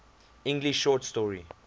english short story